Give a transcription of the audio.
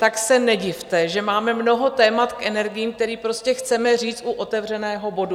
Tak se nedivte, že máme mnoho témat k energiím, která prostě chceme říct u otevřeného bodu.